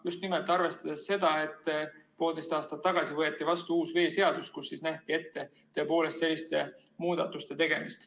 Just nimelt arvestades seda, et poolteist aastat tagasi võeti vastu uus veeseadus, kus nähti ette tõepoolest selliste muudatuste tegemine.